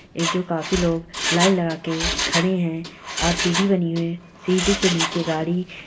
ये जो काफी लोग लाइन लगाके खड़े हैं और सीडी बनी है सीडी के नीचे गाड़ी-- ]